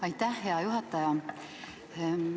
Aitäh, hea juhataja!